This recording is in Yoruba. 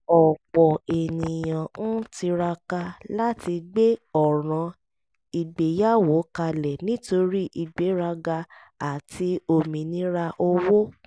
ọ̀pọ̀ ènìyàn ń tiraka láti gbé ọ̀ràn ìgbéyàwó kalẹ̀ nítorí ìgbéraga àti òmìnira owó